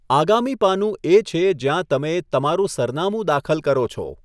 આગામી પાનું એ છે જ્યાં તમે તમારું સરનામું દાખલ કરો છો.